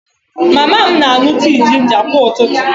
Mama m na-aṅụ tii jinja kwa ụtụtụ